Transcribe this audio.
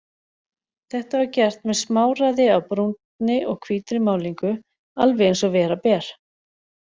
Þetta var gert með smáræði af brúnni og hvítri málningu, alveg eins og vera ber.